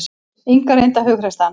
Inga reyndi að hughreysta hann.